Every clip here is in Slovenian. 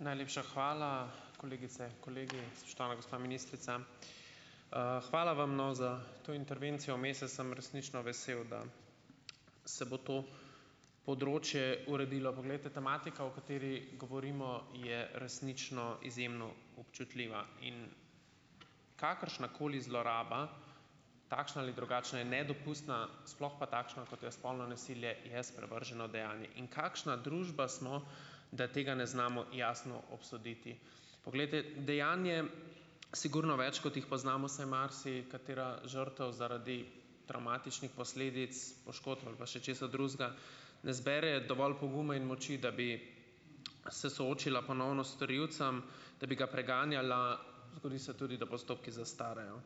Najlepša hvala. Kolegice, kolegi, spoštovana gospa ministrica! Hvala vam, no, za to intervencijo vmes. Jaz sem resnično vesel, da se bo to področje uredilo. Poglejte, tematika, o kateri govorimo je resnično izjemno občutljiva in kakršnakoli zloraba, takšna ali drugačna je nedopustna, sploh pa takšna, kot je spolno nasilje, je sprevrženo dejanje. In kakšna družba smo, da tega ne znamo jasno obsoditi. Poglejte, dejanj je sigurno več, kot jih poznamo, saj marsikatera žrtev zaradi travmatičnih posledic, poškodb ali pa še česa drugega, ne zbere dovolj poguma in moči, da bi, se soočila ponovno s storilcem, da bi ga preganjala, zgodi se tudi, da postopki zastarajo.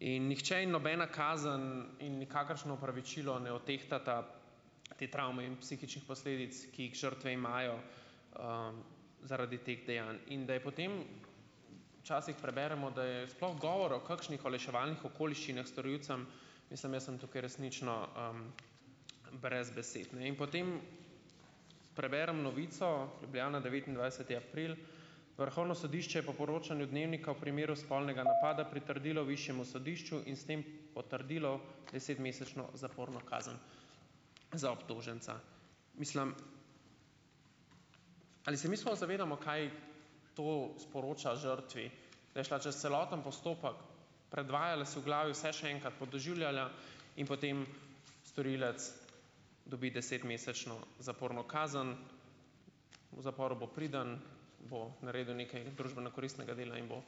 In nihče in nobena kazen in nikakršno opravičilo ne odtehtata te travme in psihičnih posledic, ki jih žrtve imajo, zaradi teh dejanj. In da je potem - včasih preberemo, da je sploh govora o kakšnih olajševalnih okoliščinah storilcem, mislim, jaz sem tukaj resnično, brez besed. No. In potem preberem novico Ljubljana, devetindvajseti april: "Vrhovno sodišče je po poročanju Dnevnika v primeru spolnega napada pritrdilo višjemu sodišču in s tem potrdilo desetmesečno zaporno kazen za obtoženca." Mislim, ali se mi sploh zavedamo, kaj to sporoča žrtvi. Da je šla čez celoten postopek, predvajala si v glavi vse še enkrat, podoživljala in potem storilec dobi desetmesečno zaporno kazen. V zaporu bo priden, bo naredil nekaj družbeno koristnega dela in bo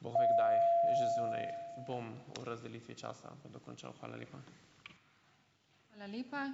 bog ve kdaj že zunaj. Bom v razdelitvi časa to dokončal. Hvala lepa.